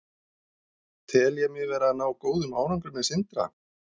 Tel ég mig vera að ná góðum árangri með Sindra?